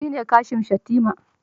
Shi ne Kashim Shettima